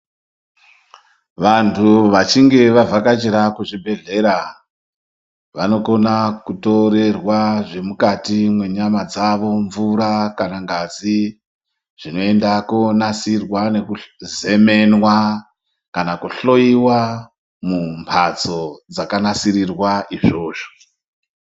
Vantu vachinge vavhakachira kuzvibhehlera vanokona kutorerwa zvemukati mwenyama dzavo, mvura kana ngazi, zvinoenda kuonasirwa nekuzemenwa, kana kuhloyiwa mumbatso dzakanasirirwa izvozvo.